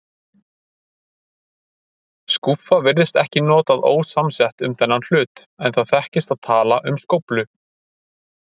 Skúffa virðist ekki notað ósamsett um þennan hlut, en það þekkist að tala um skóflu.